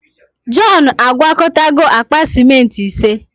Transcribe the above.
Jọn agwakọtago akpa simenti ise.